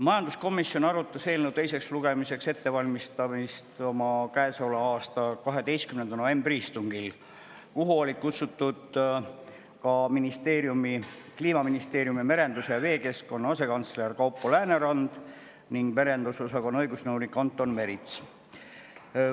Majanduskomisjon arutas eelnõu teiseks lugemiseks ettevalmistamist oma käesoleva aasta 12. novembri istungil, kuhu olid kutsutud ka Kliimaministeeriumi merenduse ja veekeskkonna asekantsler Kaupo Läänerand ning merendusosakonna õigusnõunik Anton Merits.